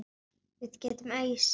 Við getum ausið.